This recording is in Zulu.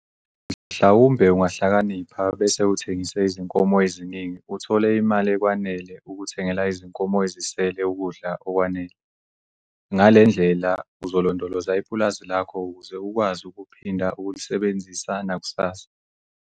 Mhlawumbe ungahlakanipha bese uthengise izinkomo eziningi uthole imali ekwanele ukuthengela izinkomo ezisele ukudla okwanele. Ngale ndlela uzolondoloza ipulazi lakho ukuze ukwazi ukuphinda ukulisebenzisa nakusasa.